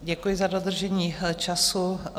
Děkuji za dodržení času.